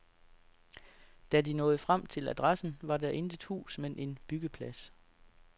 Da de nåede frem til adressen, var der intet hus men en byggeplads.